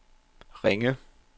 Ringe